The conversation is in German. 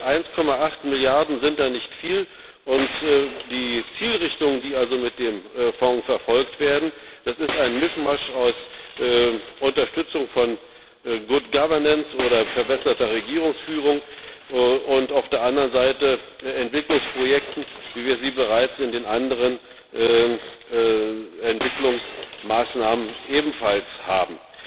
1,8 Milliarden sind da nicht viel, und die Zielrichtungen, die also mit dem Fonds verfolgt werden, das ist ein Mischmasch aus Unterstützung von good governance oder verbesserter Regierungsführung, und auf der anderen Seite von Entwicklungsprojekten, wie wir sie bereits in den anderen Entwicklungsmaßnahmen ebenfalls haben.